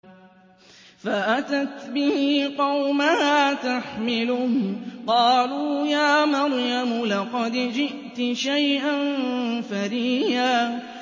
فَأَتَتْ بِهِ قَوْمَهَا تَحْمِلُهُ ۖ قَالُوا يَا مَرْيَمُ لَقَدْ جِئْتِ شَيْئًا فَرِيًّا